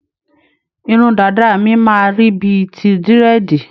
Irun dàda mi máa rí bíi ti Dírẹ̀dì.